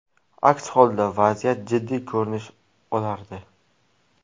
Aks holda vaziyat jiddiy ko‘rinish olardi.